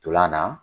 Ntolan na